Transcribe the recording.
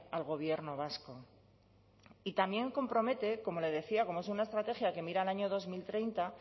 al gobierno vasco y también compromete como le decía como es una estrategia que mira al año dos mil treinta